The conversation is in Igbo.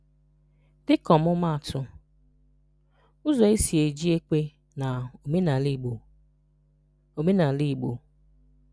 Dịka ọmụmaatụ: “Ụzọ e si-eji ekwe na omenala Igbo.” omenala Igbo.”